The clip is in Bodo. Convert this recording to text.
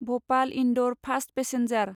Bhopal Indore fast passenger